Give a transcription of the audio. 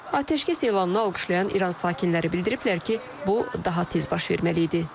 Atəşkəs elanını alqışlayan İran sakinləri bildiriblər ki, bu daha tez baş verməli idi.